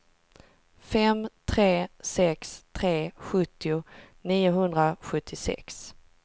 fem tre sex tre sjuttio niohundrasjuttiosex